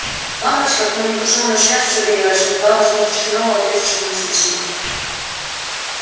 лампочка коммуникационной связи загорелась и не дала возможности мэллоу ответить своему собеседнику